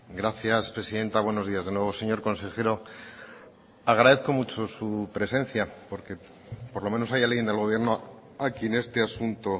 gracias presidenta buenos días de nuevo señor consejero agradezco mucho su presencia porque por lo menos hay alguien del gobierno a quien este asunto